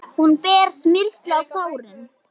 Hún ber smyrsli á sárin.